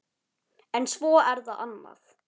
En svo er það annað.